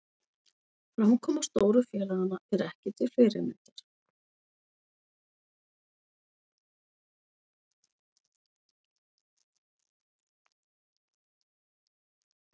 Framkoma stóru félaganna ekki til fyrirmyndar